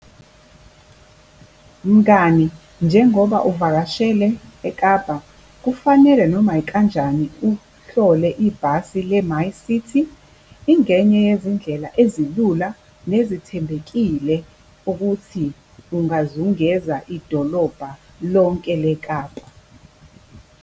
Mngani, njengoba uvakashele eKapa kufanele noma ikanjani uhlole ibhasi le-MyCiti. Ingenye yezindlela ezilula nezithembekile ukuthi ungazungeza idolobha lonke leKapa.